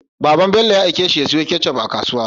Baban Bello ya aike shi ya siyo ketchup a kasuwa